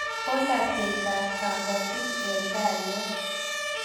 Palatetap kapatik eng' tai yo